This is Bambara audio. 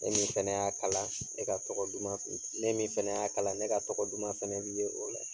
E min fɛnɛ y'a kala, e ka tɔgɔ duman fe ne min fɛnɛ y'a kala, ne ka tɔgɔ duman fɛnɛ bi ye o la.